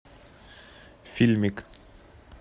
фильмик